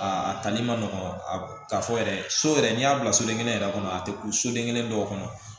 Aa a tali ma nɔgɔn k'a fɔ yɛrɛ so yɛrɛ n'i y'a bila soden kelen yɛrɛ kɔnɔ a te bɔ soden kelen dɔw kɔnɔ